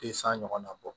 Te san ɲɔgɔnna bɔ